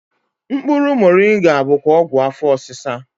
Mkpụrụ Moringa bụkwa ọgwụ afọ osisa